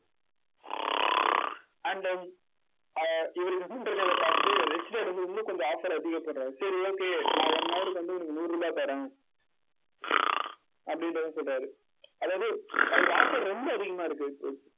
அஹ் இவர் கம்முன்னு இருக்கிறதை பார்த்துட்டு ரிச் டாட் வந்து இன்னும் கொஞ்சம் offer அதிகப்படுத்தறாரு. சரி okay நான் one hour க்கு வந்து உனக்கு நூறு ரூபாய் தரேன். அப்படின்றதும் சொல்றாரு. அதாவது அவருக்கு offer ரொம்ப அதிகமா இருக்கு.